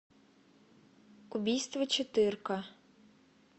убийство четырка